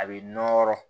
A bɛ nɔrɔ